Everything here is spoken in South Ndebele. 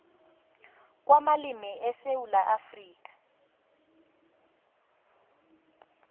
kwamalimi esewula afrika